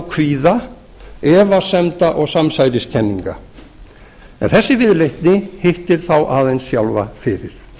kvíða efasemda og samsæriskenninga en þessi viðleitni hittir þá aðeins sjálfa fyrir